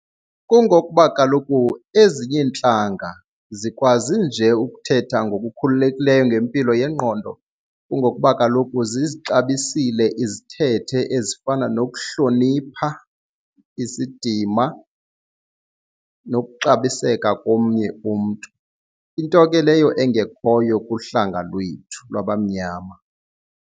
Kungokuba kaloku ezinye iintlanga zikwazi nje ukuthetha ngokukhululekileyo ngempilo yengqondo kungokuba kaloku zizixabisile izithethe ezifana nokuhlonipha isidima nokuxabiseka komnye umntu. Into ke leyo engekhoyo kuhlanga lwethu lwabamnyama.